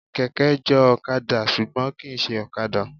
Kẹ̀kẹ́ jọ ọ̀kadà ṣùgbọ́n kìí ṣe ọ̀kadà.